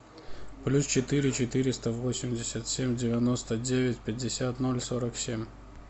плюс четыре четыреста восемьдесят семь девяносто девять пятьдесят ноль сорок семь